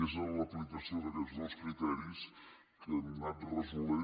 i és en l’aplicació d’aquests dos criteris que hem anat resolent